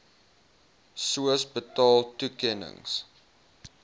sooos betaal toekennings